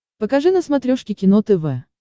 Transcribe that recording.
покажи на смотрешке кино тв